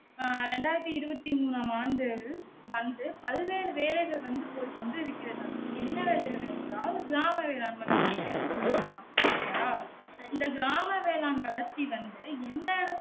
ஆ இரண்டாயிரத்து இருபத்து மூணாம் ஆண்டு வந்து பதினேழு வேலைகள் வந்து போய் கொண்டு இருக்கிற தாம் என்ன வேலைகள் என்றால் கிராம வேளாண்மை வளர்ச்சி திட்டத்தின் படியாம் செரியா இந்த கிராம வேளாண்மை வளர்ச்சி வந்து எந்த